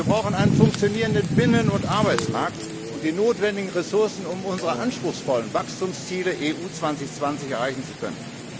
Wir brauchen einen funktionierenden Binnen und Arbeitsmarkt und die notwendigen Ressourcen, um unsere anspruchsvollen Wachstumsziele der EU 2020 Strategie erreichen zu können.